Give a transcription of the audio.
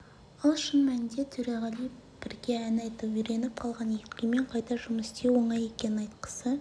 ал шын мәнінде төреғали бірге ән айтып үйреніп қалған еркемен қайта жұмыс істеу оңай екенін айтқысы